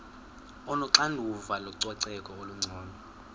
onoxanduva lococeko olungcono